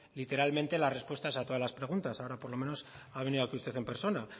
literalmente las respuestas a todas las preguntas ahora por lo menos ha venido usted en persona